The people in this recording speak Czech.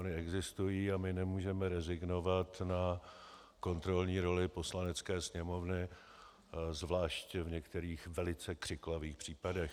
Ony existují a my nemůžeme rezignovat na kontrolní roli Poslanecké sněmovny, zvláště v některých velice křiklavých případech.